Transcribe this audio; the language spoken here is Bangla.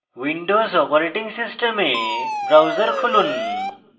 windows operating system browser খুলুন